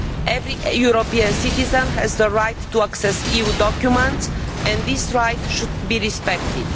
Every European citizen has the right to access EU documents and this right should be respected.